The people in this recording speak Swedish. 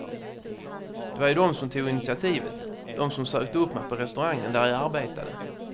Det var ju de som tog initiativet, de som sökte upp mig på restaurangen där jag arbetade.